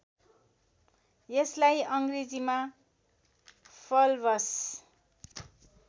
यसलाई अङ्ग्रेजीमा फल्भस